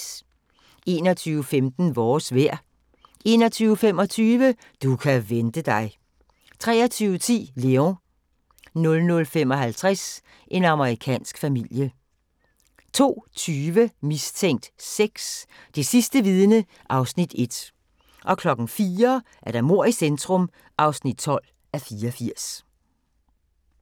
21:15: Vores vejr 21:25: Du kan vente dig 23:10: Léon 00:55: En amerikansk familie 02:20: Mistænkt 6: Det sidste vidne (Afs. 1) 04:00: Mord i centrum (12:84)